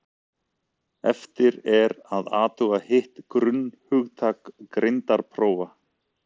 eftir er að athuga hitt grunnhugtak greindarprófa